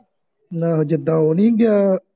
ਨਾਂ ਉਹ ਜਿਦਾਂ ਉਹ ਨਹੀਂ ਗਿਆ